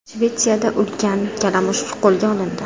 Shvetsiyada ulkan kalamush qo‘lga olindi.